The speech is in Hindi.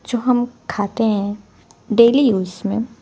जो हम खाते हैं डेली यूज़ में--